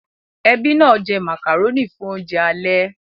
Ẹbí náà jẹ màkàrónì fún oúnjẹ alẹ́